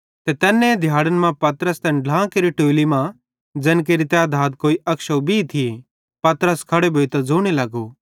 ते तैन्ने दिहाड़न मां पतरस तैन ढ्लां केरि टोलि मां ज़ैन केरि तैधात कोई 120 थिये पतरस खड़ो भोइतां ज़ोने लगो